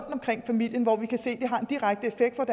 omkring familien og som vi kan se har en direkte effekt med